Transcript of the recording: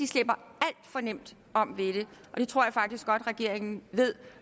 slipper alt for nemt om ved det og det tror jeg faktisk godt regeringen ved